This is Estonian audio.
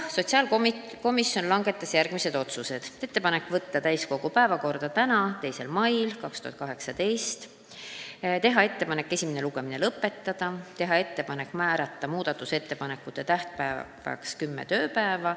Sotsiaalkomisjon langetas järgmised otsused: teha ettepanek võtta eelnõu täiskogu päevakorda tänaseks, 2. maiks, teha ettepanek esimene lugemine lõpetada ja määrata muudatusettepanekute tähtajaks kümme tööpäeva.